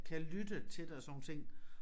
Kan lytte til det og sådan nogle ting